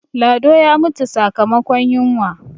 lado ya mutu sakamakon yinwa